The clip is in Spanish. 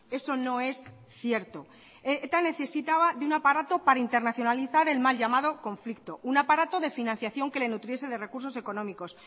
eso no es cierto eta necesitaba de un aparato para internacionalizar el mal llamado conflicto un aparato de financiación que le nutriese de recursos económicos